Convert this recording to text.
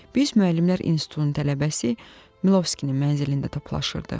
Biz müəllimlər institutunun tələbəsi Milovskinin mənzilində toplaşırdıq.